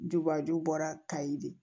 Dubaju bɔra kayi de